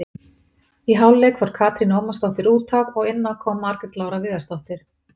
Í hálfleik fór Katrín Ómarsdóttir útaf og inná kom Margrét Lára Viðarsdóttir.